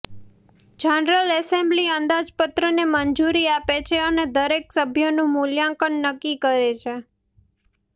general assembly અંદાજપત્રને મંજૂરી આપે છે અને દરેક સભ્યનું મૂલ્યાંકન નક્કી કરે છે